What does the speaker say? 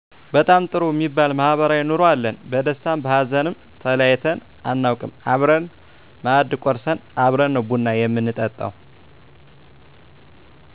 በጣም ጥሩ እሚባል ማህበራዊ ኑሮ አለን በደስታም በሀዘንም ተለያይተን አናውቅም አብረን ማእድ ቆርስን አብረን ነው ቡና ምንጠጣው